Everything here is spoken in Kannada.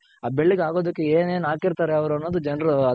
ಅ ಬೆಳ್ಳಗ್ ಆಗೋದಕ್ಕೆ ಏನೇನ್ ಹಾಕಿರ್ತಾರೆ ಅವ್ರು ಅನ್ನೋದ್ ಜನ್ರ್ ಅದ್ರ